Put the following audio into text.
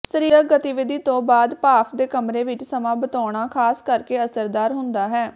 ਸਰੀਰਕ ਗਤੀਵਿਧੀ ਤੋਂ ਬਾਅਦ ਭਾਫ਼ ਦੇ ਕਮਰੇ ਵਿੱਚ ਸਮਾਂ ਬਿਤਾਉਣਾ ਖਾਸ ਕਰਕੇ ਅਸਰਦਾਰ ਹੁੰਦਾ ਹੈ